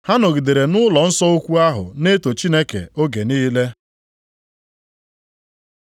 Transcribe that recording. Ha nọgidere nʼụlọnsọ ukwu ahụ na-eto Chineke oge niile.